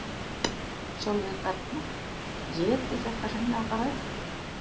Sólveig Bergmann: Éti þetta hreinlega bara upp?